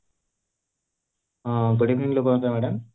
ହଁ good evening